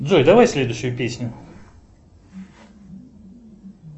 джой давай следующую песню